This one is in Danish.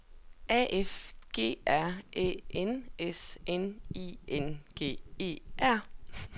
A F G R Æ N S N I N G E R